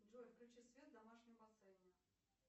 джой включи свет в домашнем бассейне